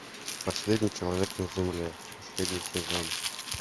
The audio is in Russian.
последний человек на земле последний сезон